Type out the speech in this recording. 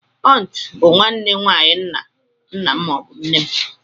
Auntú bụ nwanne nwayi ńnà m maọbu nne m.